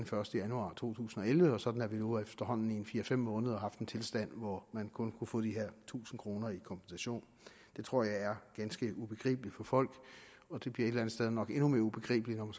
første januar to tusind og elleve sådan at vi nu efterhånden i en fire fem måneder har haft en tilstand hvor man kun kunne få de her tusind kroner i kompensation det tror jeg er ganske ubegribeligt for folk og det bliver et sted nok endnu mere ubegribeligt når